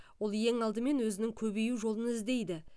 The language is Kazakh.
ол ең алдымен өзінің көбею жолын іздейді